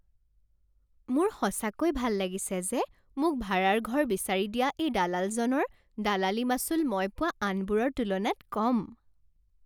মোৰ সঁচাকৈ ভাল লাগিছে যে মোক ভাড়াৰ ঘৰ বিচাৰিদিয়া এই দালালজনৰ দলালী মাচুল মই পোৱা আনবোৰৰ তুলনাত কম।